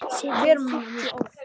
Alltaf svo hlý og góð.